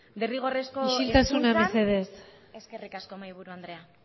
derrigorrezko hezkuntzan isiltasuna mesedez eskerrik asko mahaiburu andrea